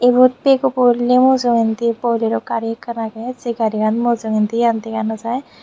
ebot bego poley mujongondi bolero gari ekan agey sey gariyan mujongondi dega no jai.